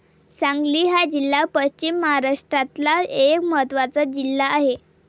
सांगली हा जिल्हा पश्चिम महाराष्ट्रातला एक महत्वाचा जिल्हा आहे.